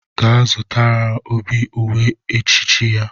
Gaa zụtara Obi uwe echichi ya!